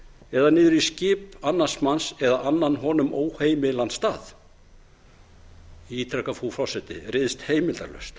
eða niður í skip annars manns eða annan honum óheimilan stað ég ítreka frú forseti ryðst heimildarlaust